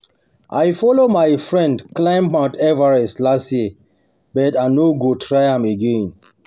I follow my friend climb mount Everest last year but I no go try am again